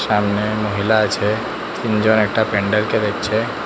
সামনে মহিলা আছে তিনজন একটা প্যান্ডেল কে দেখছে।